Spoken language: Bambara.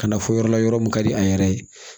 Ka na fɔ yɔrɔ la yɔrɔ min ka di a yɛrɛ ye